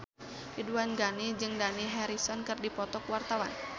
Ridwan Ghani jeung Dani Harrison keur dipoto ku wartawan